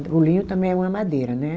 O linho também é uma madeira, né?